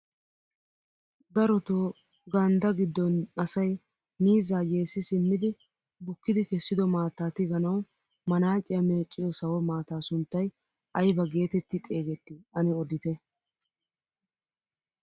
Darotoo ganddaa giddon asay miizzaa yeessi simmidi bukki kessido maattaa tiganawi maanaaciyaa meecciyoo sawo maataa sunttay aybaa geetetti xeegettii ane odite?